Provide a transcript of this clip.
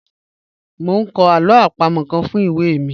Mo n kọ alo apamo kan fun iwe mi